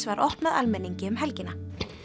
var opnað almenningi um helgina